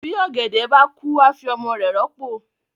bi ògèdè bá kú a fí ọmọ rẹ ròpo.